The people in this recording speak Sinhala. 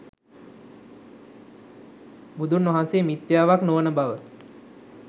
බුදුන්වහන්සේ මිත්‍යාවක් නොවන බව